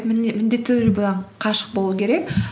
міндетті түрде бұдан қашық болу керек